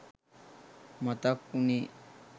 මතක් උණෙ